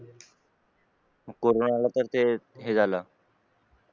corona आला तर ते हे झालं